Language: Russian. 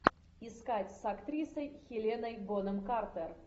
искать с актрисой хеленой бонем картер